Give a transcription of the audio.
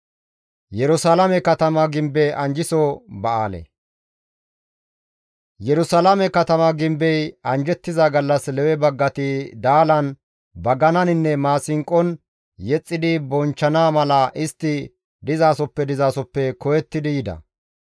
Yerusalaame katama gimbey anjjettiza gallas Lewe baggati daalan, bagananinne maasinqon yexxidi bonchchana mala istti dizasoppe dizasoppe koyettidi yida.